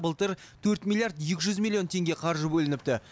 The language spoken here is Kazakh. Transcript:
былтыр төрт миллиард екі жүз миллион теңге қаржы бөлініпті